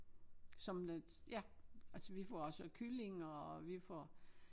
Som lidt ja altså vi får også kylling og vi får